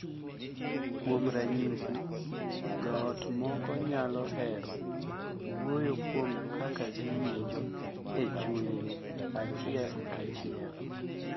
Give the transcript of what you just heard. Kuom ranyisi, jo ot moko nyalo hero wuoyo kuom kaka giwinjo e chunygi achiel kachiel,